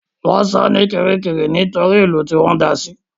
Wọ́n sọ ní Kirikiri nítorí ìlú Kirikiri tí wọ́n da sí